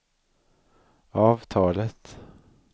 avtalet